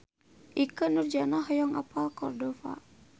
Ikke Nurjanah hoyong apal Cordova